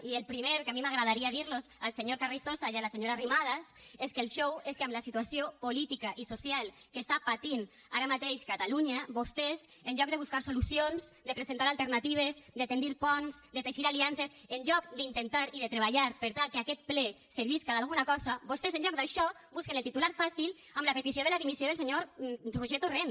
i el primer que a mi m’agradaria dir los al senyor carrizosa i a la senyora arrimadas és que el xou és que amb la situació política i social que està patint ara mateix catalunya vostès en lloc de buscar solucions de presentar alternatives de tendir ponts de teixir aliances en lloc d’intentar i de treballar per tal que aquest ple servisca d’alguna cosa vostès en lloc d’això busquen el titular fàcil amb la petició de la dimissió del senyor roger torrent